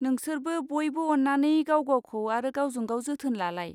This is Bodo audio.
नोंसोरबो बइबो अन्नानै गावगावखौ आरो गावजोंगाव जोथोन लालाय।